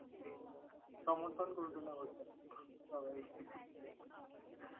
সেই সমর্থন করবে না বাছা সবাই।